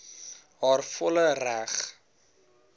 haar volle reg